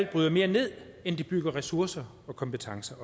bryde mere ned end det bygger ressourcer og kompetencer